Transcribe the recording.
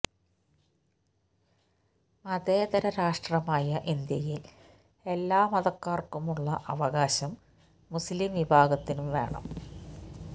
മതേതര രാഷ്ട്രമായ ഇന്ത്യയില് എല്ലാ മതക്കാര്ക്കും ഉള്ള അവകാശം മുസ്ലിം വിഭാഗത്തിനും വേണം